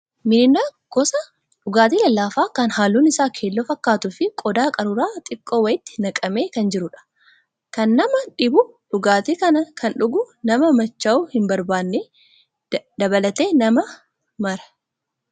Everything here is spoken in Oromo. Miriindaan gosa dhugaatii lallaafaa kan halluun isaa keelloo fakkaatuu fi qodaa qaruuraa xiqqoo wayiitti naqamee kan jirudha. Kan nama dhibu dhugaatii kana kan dhugu nama machaa'uu hin barbaadne dabalatee nama maraa.